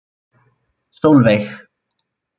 Sólveig